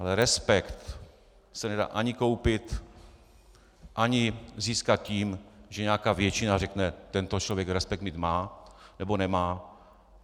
Ale respekt se nedá ani koupit ani získat tím, že nějaká většina řekne tento člověk respekt mít má nebo nemá.